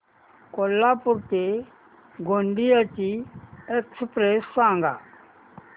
कोल्हापूर ते गोंदिया ची एक्स्प्रेस सांगा